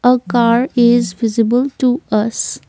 a car is visible to us.